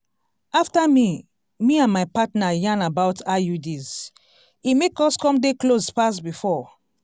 after me me and my partner yarn about iuds e make us come dey close pass before.